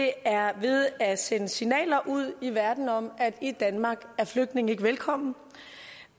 er ved at sende signaler ud i verden om at i danmark er flygtninge ikke velkomne